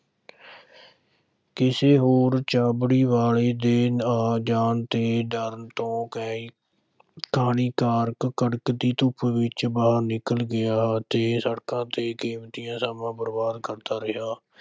ਕਿਸੇ ਹੋਰ ਛਾਬੜੀ ਵਾਲੇ ਦੇ ਆ ਜਾਣ ਦੇ ਡਰ ਤੋਂ ਕਹ ਕਹਾਣੀਕਾਰ ਕੜਕਦੀ ਧੁੱਪ ਵਿੱਚ ਬਾਹਰ ਨਿਕਲ ਗਿਆ ਅਤੇ ਸੜਕਾਂ ਤੇ ਕੀਮਤੀ ਸਮਾਂ ਬਰਬਾਦ ਕਰਦਾ ਰਿਹਾ।